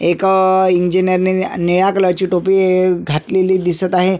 एक इंजिनअर नि निळ्या कलर ची टोपी घातलेली दिसत आहे.